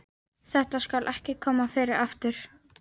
Þetta skal ekki koma fyrir aftur.